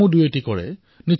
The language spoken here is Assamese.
আমাৰ মহিলাৰ ক্লাব আছে